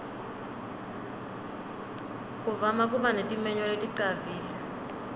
kuvama kuba netimenywa leticavile